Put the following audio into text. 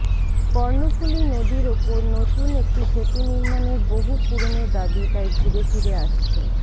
কর্ণফুলী নদীর ওপর নতুন একটি সেতু নির্মাণের বহু পুরনো দাবি তাই ঘুরে ফিরে আসছে